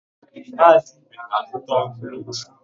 Maazị Ibe ga-azụta ọ́gụ̀ echi.